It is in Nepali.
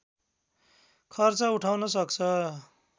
खर्च उठाउन सक्छ